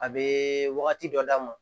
A bɛ wagati dɔ d'a ma